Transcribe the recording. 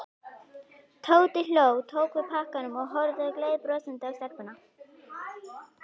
Tóti hló, tók við pakkanum og horfði gleiðbrosandi á stelpuna.